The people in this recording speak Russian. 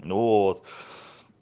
ну вот